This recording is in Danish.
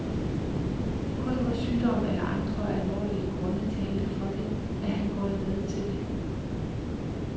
Kun hvor sygdom eller andre alvorlige grunde talte for det, er han gået med til det.